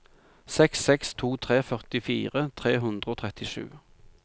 seks seks to tre førtifire tre hundre og trettisju